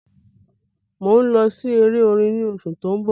mọ ń lọ sí èrè orin ní oṣù to ń bó